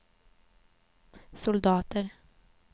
soldater